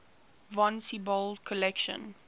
von siebold's collection